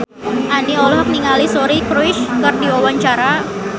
Andien olohok ningali Suri Cruise keur diwawancara